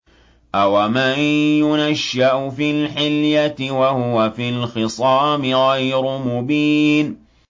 أَوَمَن يُنَشَّأُ فِي الْحِلْيَةِ وَهُوَ فِي الْخِصَامِ غَيْرُ مُبِينٍ